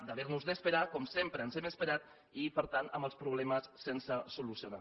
d’haver nos d’esperar com sempre ens hem esperat i per tant amb els problemes sense solucionar